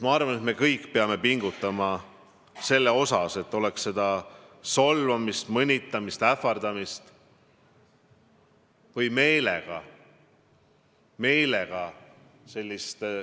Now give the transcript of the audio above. Ma arvan, et me kõik peame pingutama selle nimel, et oleks solvamist, mõnitamist, ähvardamist ja meelega – meelega!